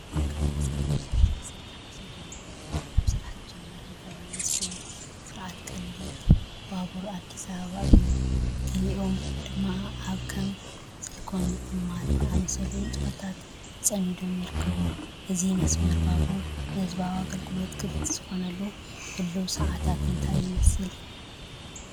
እዚ ካብ መስከረም 2015 ጀሚሩ ኣብ ስራሕ ዝጀመረን ፈላማይ ዝኾነ ስርዓት ቀሊል ባቡር ኣዲስ ኣበባ እዩ። ገሊኦም ድማ ኣብ ከም ስልኮም ምጥማት ዝኣመሰሉ ንጥፈታት ተጸሚዶም ይርከቡ። እዚ መስመር ባቡር ንህዝባዊ ኣገልግሎት ክፉት ዝኾነሉ ህሉው ሰዓታት እንታይ ይመስል?